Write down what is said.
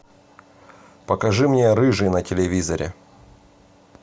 покажи мне рыжий на телевизоре